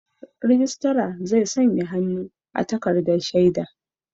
Rijistar zai sanya hannu a takardar shaida.